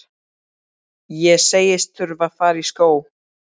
Ég segist þurfa að fara í skó.